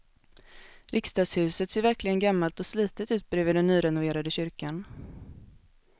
Riksdagshuset ser verkligen gammalt och slitet ut bredvid den nyrenoverade kyrkan.